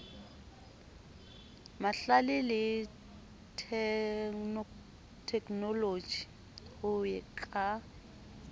mahlale le theknoloji ho ka